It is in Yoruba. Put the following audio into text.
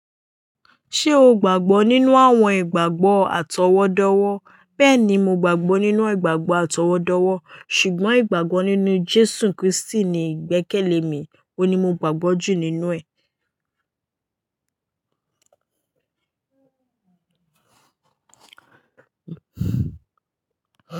Ṣé o gbàgbọ́ nínú àwọn ìgbàgbọ́ àtọwọ́dọ́wọ́? Bẹ́ẹ̀ni, mo gbàgbọ́ nínú ìgbàgbọ́ àtọwọ́dọ́wọ́ ṣùgbọ́n ìgbàgbọ́ nínú Jésù Krístì ni ìgbẹ́kẹ̀lé mi, òun ni mo gbàgbọ́ jù nínú ẹ̀.